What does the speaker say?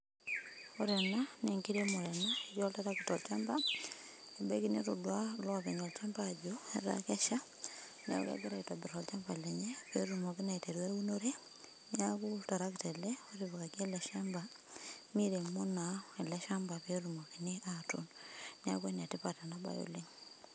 Ore ena nenkiremore ena. Etii oltarakita olchamba, nebaki netodua ilopeny olchamba ajo etaa kesha, neeku kegira aitobir olchamba lenye petumoki naa aiteru eunore, neeku oltarakita ele, otipikaki ele shamba miremo naa ele shamba petumokini atuun. Neeku enetipat enabae oleng.